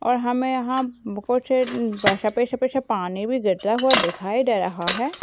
और हमें यहां बहुत से अम्म सफेद सफेद सा पानी भी गिरता हुआ दिखाई दे रहा है।